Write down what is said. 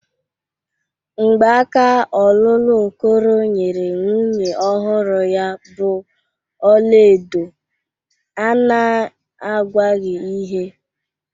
Mgbaka ọlụlụ Okoro nyere nwunye ọhụrụ ya bụ ọla edo a na-agwaghị ihe.